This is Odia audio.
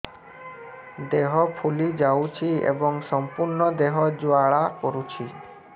ଦେହ ଫୁଲି ଯାଉଛି ଏବଂ ସମ୍ପୂର୍ଣ୍ଣ ଦେହ ଜ୍ୱାଳା କରୁଛି